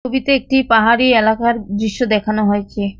ছবিতে একটি পাহাড়ি এলাকার দৃশ্য দেখানো হয়েছে।